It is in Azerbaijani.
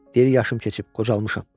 Deyir yaşım keçib, qocalmışam.